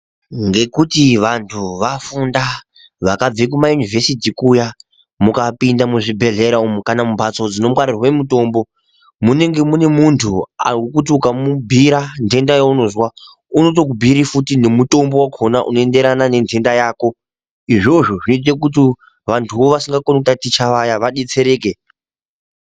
Ngekuti vantu vafunda vakabve kumayunivhesiti kuya. Mukapinde muzvibhehelera umu kana mumbatso dzinongwarirwe mutombo munenge mune muntu wokuti ukamubhuira ndenda yaunozwa unotokubhuira futi nemutombo wakona unoenderana nendenda yako. Izvozvo zvinoite kuti vantuvo vasikakoni kutaticha vaya vadetsereke.